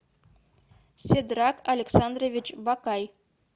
седрат александрович батай